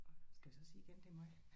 Skal vi så sige igen det er mig?